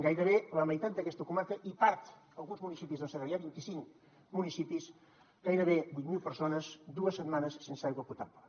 gairebé la meitat d’aquesta comarca i part alguns municipis del segrià vint i cinc municipis gairebé vuit mil persones dues setmanes sense aigua potable